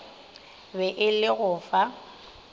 be e le go fa